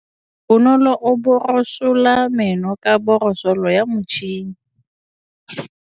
Bonolô o borosola meno ka borosolo ya motšhine.